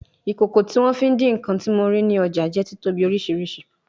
Ikoko ti won fi idi nkan ti mo rii ni ọja jẹ titobi oriṣiriṣi